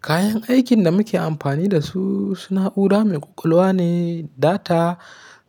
Kayan aikin da muke amfani da su, su na'ura mai ƙwaƙwalwa ne, data